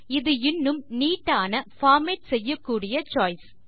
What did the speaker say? இது இன்னும் நீட் ஆன பார்மேட் செய்யக்கூடிய சோய்ஸ்